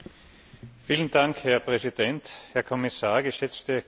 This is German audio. Herr Präsident, Herr Kommissar, geschätzte Kolleginnen und Kollegen!